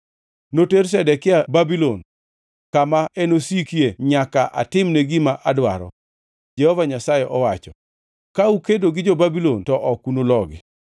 Noter Zedekia Babulon, kama enosikie nyaka atimne gima adwaro, Jehova Nyasaye owacho. Ka ukedo gi jo-Babulon, to ok unulogi.’ ”